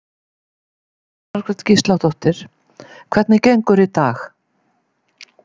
Jóhanna Margrét Gísladóttir: Hvernig gengur í dag?